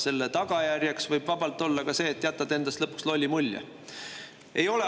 Selle tagajärjeks võib vabalt olla ka see, et jätadki endast lõpuks lolli mulje.